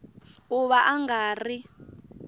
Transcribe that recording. ku va a nga ri